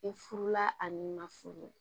I furula a ni na furu